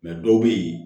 dɔw bɛ yen